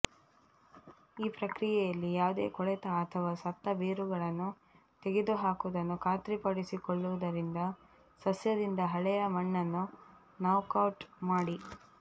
ಈ ಪ್ರಕ್ರಿಯೆಯಲ್ಲಿ ಯಾವುದೇ ಕೊಳೆತ ಅಥವಾ ಸತ್ತ ಬೇರುಗಳನ್ನು ತೆಗೆದುಹಾಕುವುದನ್ನು ಖಾತ್ರಿಪಡಿಸಿಕೊಳ್ಳುವುದರಿಂದ ಸಸ್ಯದಿಂದ ಹಳೆಯ ಮಣ್ಣನ್ನು ನಾಕ್ಔಟ್ ಮಾಡಿ